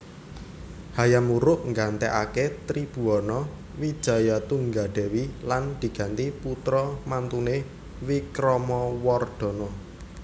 Hayam Wuruk nggantèkaké Tribhuwana Wijayatunggadewi lan diganti putra mantuné Wikramawardhana